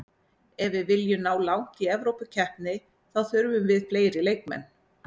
Ef við viljum ná langt í Evrópukeppni þá þurfum við fleiri leikmenn.